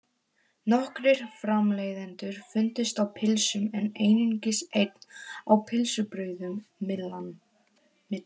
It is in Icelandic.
Nokkrir framleiðendur fundust á pylsum en einungis einn á pylsubrauðum, Myllan.